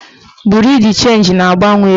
Buriu d chenji na-agbanwe ego